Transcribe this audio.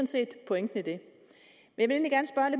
set pointen i det